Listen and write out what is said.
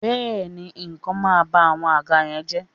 béèni, ikan ma ba awọn àga yen je